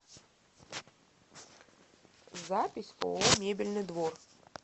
запись ооо мебельный двор